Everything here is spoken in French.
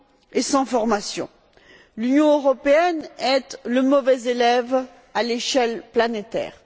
et sans formation. L'Union européenne est le mauvais élève à l'échelle planétaire.